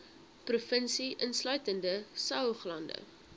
provinsie insluitende saoglande